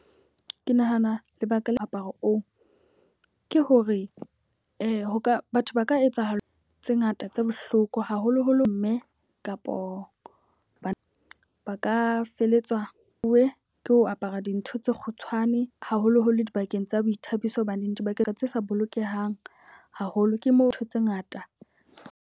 Ke nahana lebaka le moaparo oo ke hore ho ka batho ba ka etsahala tse ngata tse bohloko haholoholo mme. Kapo ba ba ka feletswa uwe ke ho apara dintho tse kgutshwane haholoholo dibakeng tsa boithabiso. Hobaneng dibaka tse sa bolokehang haholo ke mo ntho tse ngata.